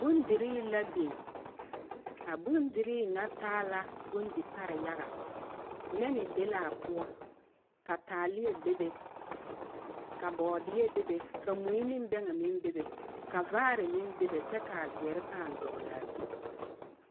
Bondirii la biŋ. A bondirii ŋa taa la bondi pare yaga. Nɛne be laa poɔ, ka bɔɔdeɛ be be, ka taaleɛ be be, ka mui ne bɛŋɛ meŋ be be, ka vaare meŋ be be kyɛ ka a zeɛre paa dɔglaa zu.